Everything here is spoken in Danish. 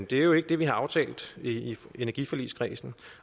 det er jo ikke det vi har aftalt i energiforligskredsen